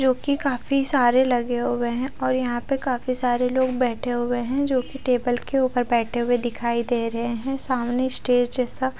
जोकि काफी सारे लगे हुए है और यहाँ पर काफी सारे लोग बेठे हुए है जोकि टेबल के उपर बेठे हुए दिखाई दे रहे है सामने स्टेज जैसा--